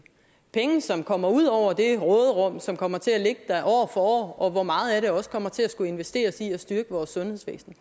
penge som kommer ud over det råderum som kommer til at ligge der år for år og hvor meget af det også kommer til det at skulle investeres i at styrke vores sundhedsvæsen